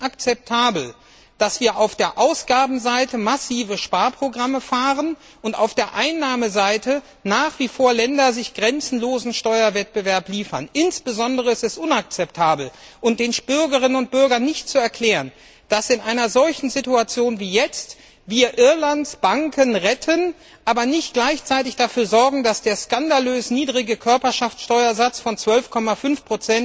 Es ist nicht akzeptabel, dass wir auf der Ausgabenseite massive Sparprogramme haben und sich Länder auf der Einnahmeseite nach wie vor einen grenzenlosen Steuerwettbewerb liefern. Insbesondere ist es unakzeptabel, und den Bürgerinnen und Bürgern nicht zu vermitteln, dass wir in einer solchen Situation wie jetzt Irlands Banken retten, aber nicht gleichzeitig dafür sorgen, dass der skandalös niedrige Körperschaftssteuersatz von 12,5